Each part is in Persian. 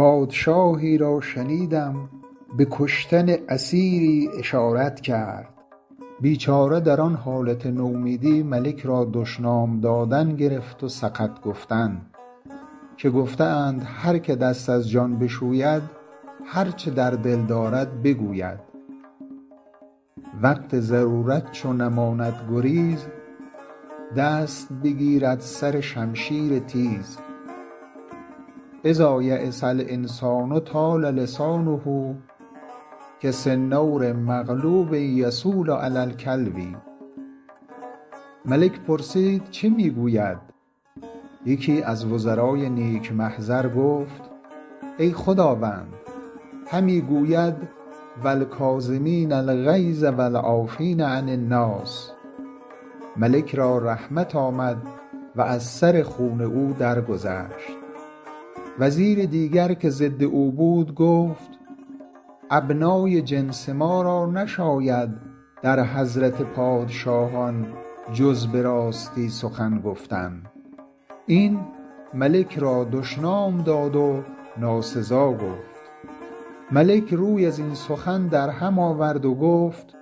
پادشاهی را شنیدم به کشتن اسیری اشارت کرد بیچاره در آن حالت نومیدی ملک را دشنام دادن گرفت و سقط گفتن که گفته اند هر که دست از جان بشوید هر چه در دل دارد بگوید وقت ضرورت چو نماند گریز دست بگیرد سر شمشیر تیز إذا ییس الإنسان طال لسانه کسنور مغلوب یصول علی الکلب ملک پرسید چه می گوید یکی از وزرای نیک محضر گفت ای خداوند همی گوید و الکاظمین الغیظ و العافین عن الناس ملک را رحمت آمد و از سر خون او درگذشت وزیر دیگر که ضد او بود گفت ابنای جنس ما را نشاید در حضرت پادشاهان جز به راستی سخن گفتن این ملک را دشنام داد و ناسزا گفت ملک روی از این سخن در هم آورد و گفت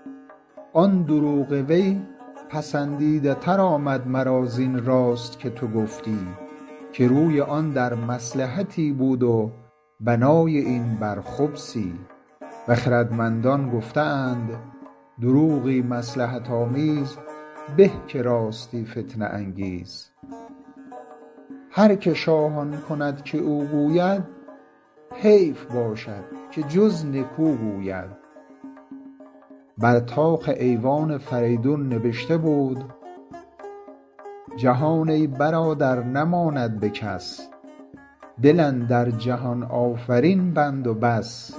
آن دروغ وی پسندیده تر آمد مرا زین راست که تو گفتی که روی آن در مصلحتی بود و بنای این بر خبثی و خردمندان گفته اند دروغی مصلحت آمیز به که راستی فتنه انگیز هر که شاه آن کند که او گوید حیف باشد که جز نکو گوید بر طاق ایوان فریدون نبشته بود جهان ای برادر نماند به کس دل اندر جهان آفرین بند و بس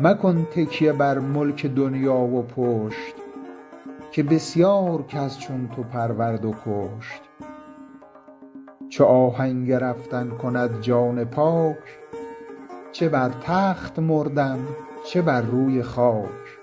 مکن تکیه بر ملک دنیا و پشت که بسیار کس چون تو پرورد و کشت چو آهنگ رفتن کند جان پاک چه بر تخت مردن چه بر روی خاک